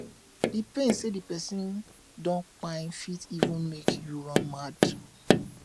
d pain sey di pesin don kpai fit even make yu run mad